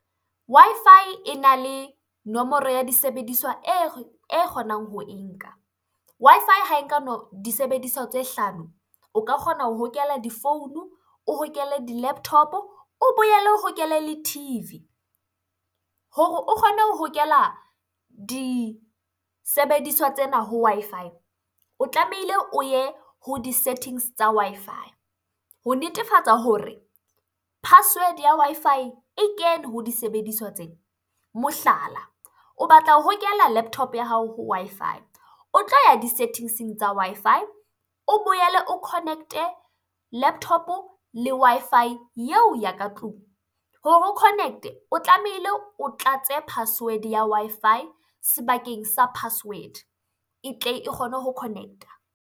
Wi-Fi ena le nomoro ya disebediswa e kgonang ho e nka. Wi-Fi disebediswa tse hlano, o ka kgona ho hokela di-phone, o hokele di-laptop-o, o boele o hokele le T_V. Hore o kgone ho hokela disebediswa tsena ha Wi-Fi, o tlamehile o ye ho di-settings tsa Wi-Fi ho netefatsa hore password ya Wi-Fi e kene ho disebediswa tsena. Mohlala o batla ho hokela laptop-o ya hao ho Wi-Fi, o tlo ya di-settings-eng tsa Wi-Fi, o boele o connect-e laptop-o le Wi-Fi eo ya ka tlung. Hore connect-e, o tlamehile o tlatse password-e ya Wi-Fi sebakeng sa password e tle e kgone ho connect-a.